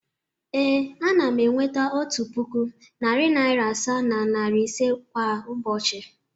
Ee, ana m enweta otu puku, narị naịra asaa na naịra ise kwa ụbọchị.